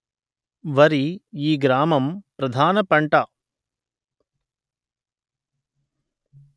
వరి ఈ గ్రామం ప్రధాన పంట